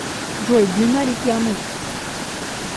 джой длина реки амур